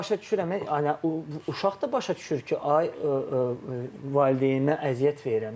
Mən başa düşürəm, uşaq da başa düşür ki, ay valideyninə əziyyət verirəm də.